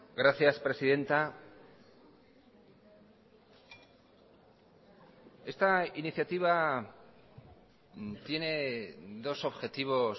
gracias presidenta esta iniciativa tiene dos objetivos